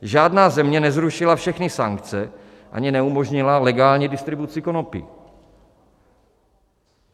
Žádná země nezrušila všechny sankce ani neumožnila legální distribuci konopí.